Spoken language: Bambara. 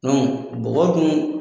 bɔgɔ dun